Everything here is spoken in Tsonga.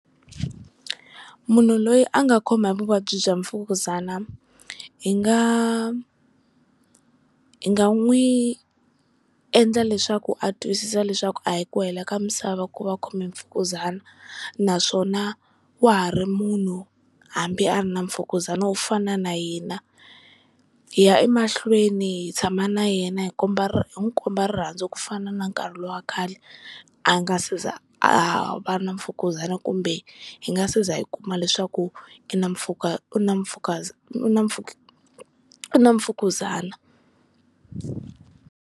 Munhu loyi a nga khoma hi vuvabyi bya Mfukuzana hi nga hi nga n'wi endla leswaku a twisisa leswaku a hi ku hela ka misava ku va a khome hi Mfukuzana, naswona wa ha ri munhu hambi a ri na Mfukuzana wo fana na hina, hi ya emahlweni hi tshama na yena hi komba hi n'wi komba rirhandzu ku fana na nkarhi lowa khale a nga si za a va na Mfukuzana, kumbe hi nga si za hi kuma leswaku i na u na Mfukuzana u na Mfukuzana.